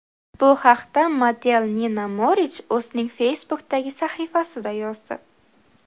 Bu haqda model Nina Morich o‘zining Facebook’dagi sahifasida yozdi .